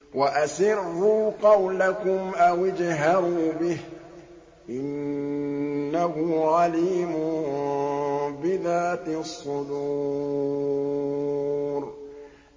وَأَسِرُّوا قَوْلَكُمْ أَوِ اجْهَرُوا بِهِ ۖ إِنَّهُ عَلِيمٌ بِذَاتِ الصُّدُورِ